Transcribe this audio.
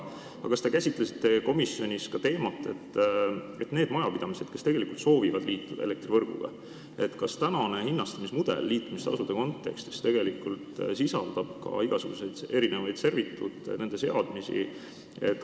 Kas te käsitlesite komisjonis ka seda teemat, et kui on neid majapidamisi, kes soovivad elektrivõrguga liituda, siis kas praegune hinnastamismudel liitumistasude kontekstis sisaldab ka kõikvõimalikke servituute, nende seadmisi?